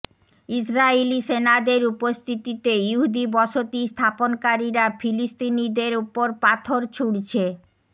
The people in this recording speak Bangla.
ইসরায়েলি সেনাদের উপস্থিতিতে ইহুদি বসতি স্থাপনকারীরা ফিলিস্তিনিদের ওপর পাথর ছুঁড়ছে